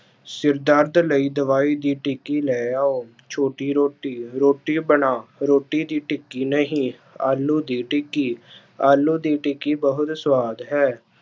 ਸਿਰ ਦਰਦ ਲਈ ਦਵਾਈ ਦੀ ਟਿੱਕੀ ਲੈ ਆਓ, ਛੋਟੀ ਰੋਟੀ, ਰੋਟੀ ਬਣਾ ਰੋਟੀ ਦੀ ਟਿੱਕੀ ਨਹੀਂ, ਆਲੂ ਦੀ ਟਿੱਕੀ ਆਲੂ ਦੀ ਟਿੱਕੀ ਬਹੁਤ ਸ਼ਵਾਦ ਹੈ।